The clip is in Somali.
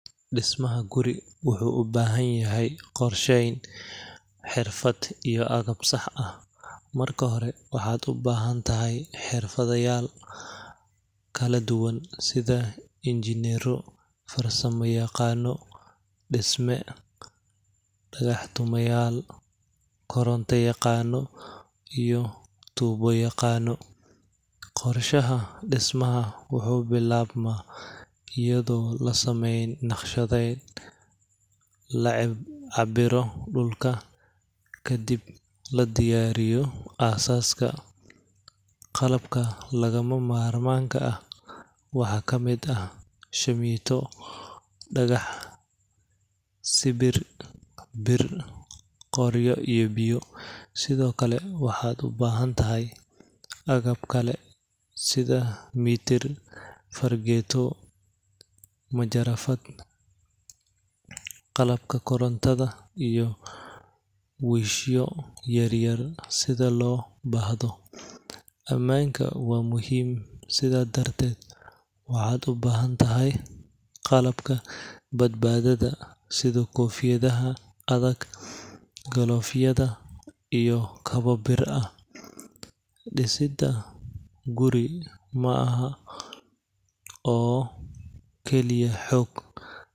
Dismaha guri wuxuu ubahan yahay qorsheyn, xirfad iyo agab sax ah, marka hore waxaad ubahan tahay xirfadayaal kala duban, sida injineero, farsama yaqaano, dagax tumayaal, koronta yaqaano iyo tuubo yaqaano, qorshaha dismaha wuxuu bilaabma ayado lasameynayo nashqadeen, lacabiro dulka, kadib ladiyaariyo aasaska, qalabka lagama maarmaanka ah waxaa kamid ah, shamiito, dagax, sibir, bir, qoryo iyo biyo, sido kale waxaad ubahan tahay agab kale sida mitir, farageeto, majarafada, qalabka korontada iyo wiishya yaryar sida loo baahdo, amaanka waa muhiim sidaa darteed, waxaad ubahan tahay qalabka badbaadada sida kofiyadaha adag, glovyada iyo kaba bir ah, disida guri maaha oo kaliya xoog.